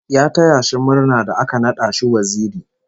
Ya taya shi murna da aka nada shi waziri